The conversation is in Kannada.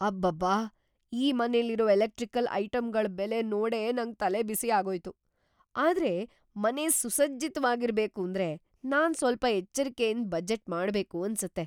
ಅಬ್ಬಬ್ಬಾ! ಈ ಮನೆಲಿರೋ ಎಲೆಕ್ಟ್ರಿಕಲ್‌ ಐಟಂಗಳ್ ಬೆಲೆ ನೋಡೇ ನಂಗ್ ತಲೆಬಿಸಿ ಆಗೋಯ್ತು! ಆದ್ರೆ ಮನೆ ಸುಸಜ್ಜಿತ್ವಾಗಿರ್ಬೇಕೂಂದ್ರೆ ನಾನ್‌ ಸ್ವಲ್ಪ ಎಚ್ಚರ್ಕೆಯಿಂದ ಬಜೆಟ್‌ ಮಾಡ್ಬೇಕು ಅನ್ಸತ್ತೆ.